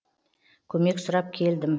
көмек сұрап келдім